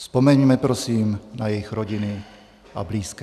Vzpomeňme prosím na jejich rodiny a blízké.